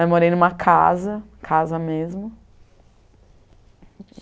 Mas morei em uma casa, casa mesmo.